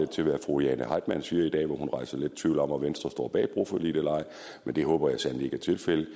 til hvad fru jane heitmann siger i dag hvor hun jo rejser lidt tvivl om hvorvidt venstre står bag broforliget eller ej men det håber jeg sandelig er tilfældet at